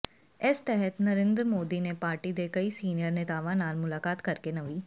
ਇਸ ਤਹਿਤ ਨਰਿੰਦਰ ਮੋਦੀ ਨੇ ਪਾਰਟੀ ਦੇ ਕਈ ਸੀਨੀਅਰ ਨੇਤਾਵਾਂ ਨਾਲ ਮੁਲਾਕਾਤ ਕਰਕੇ ਨਵੀਂ